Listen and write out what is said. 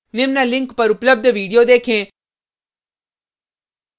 निम्न link पर उपलब्ध video देखें